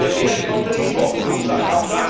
Und der Wert konnte nicht hoch genug sein.